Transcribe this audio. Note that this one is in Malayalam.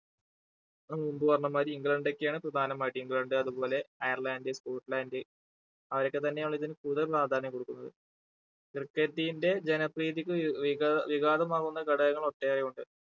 ഹും മുമ്പ് പറഞ്ഞമാതിരി ഇംഗ്ലണ്ട് ഒക്കെയാണ് പ്രധാനമായിട്ടും ഇംഗ്ലണ്ട് അതുപോലെ അയർലണ്ട് സ്‍കോട്‍ലാൻഡ് അവരൊക്കെ തന്നെയാണ് ഇതിന് കൂടുതൽ പ്രാധാന്യം കൊടുക്കുന്നത് cricket team ന്റെ ജനപ്രീതിക്ക് വി വിക വികാതമാകുന്ന ഘടകങ്ങൾ ഒട്ടേറെയുണ്ട്.